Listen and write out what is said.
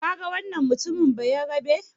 Kaga wannan mutumin Bayarabe?